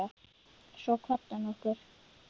Svo kvaddi hann okkur.